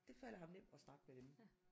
Det falder ham nemt at snakke med dem